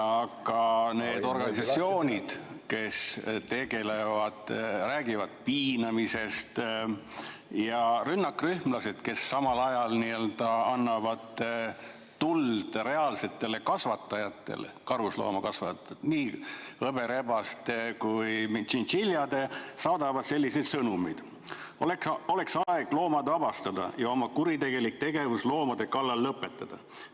Aga need organisatsioonid, kes sellega tegelevad, räägivad piinamisest, ja rünnakrühmlased, kes samal ajal annavad tuld reaalsetele karusloomade kasvatajatele, nii hõberebaste kui ka tšintšiljade kasvatajatele, saadavad selliseid sõnumeid: "Oleks aeg loomad vabastada ja oma kuritegelik tegevus loomade kallal lõpetada.